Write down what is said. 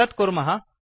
तत् कुर्मः